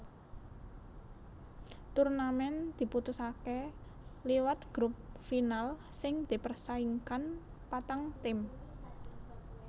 Turnamen diputusaké liwat grup final sing dipersaingkan patang tim